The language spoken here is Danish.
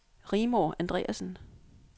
Rigmor Andreasen